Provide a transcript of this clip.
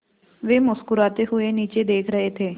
वे मुस्कराते हुए नीचे देख रहे थे